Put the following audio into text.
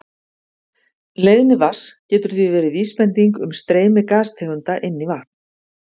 Leiðni vatns getur því verið vísbending um streymi gastegunda inn í vatn.